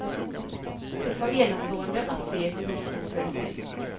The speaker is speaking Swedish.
Det var enastående att se hur hon uppförde sig.